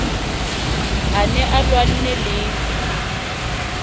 a ne a lwanne le